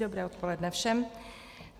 Dobré odpoledne všem.